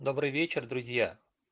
добрый вечер друзья